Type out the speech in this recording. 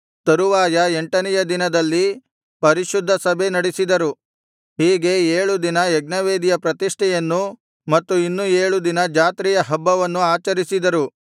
ತರುವಾಯ ಎಂಟನೆಯ ದಿನದಲ್ಲಿ ಪರಿಶುದ್ಧ ಸಭೆ ನಡಿಸಿದರು ಹೀಗೆ ಏಳು ದಿನ ಯಜ್ಞವೇದಿಯ ಪ್ರತಿಷ್ಠೆಯನ್ನು ಮತ್ತು ಇನ್ನು ಏಳು ದಿನ ಜಾತ್ರೆಯ ಹಬ್ಬವನ್ನು ಆಚರಿಸಿದರು